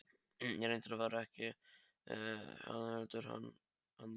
Eða reyndar var það ekki hann, heldur annar.